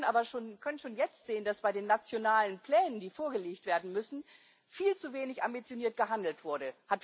Wir können aber schon jetzt sehen, dass bei den nationalen Plänen, die vorgelegt werden müssen, viel zu wenig ambitioniert gehandelt wurde.